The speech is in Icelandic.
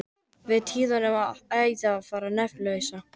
Við tíðindin rann æði á þann nafnlausa.